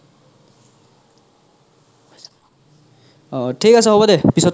থিক আছে হ'ব দে পিছত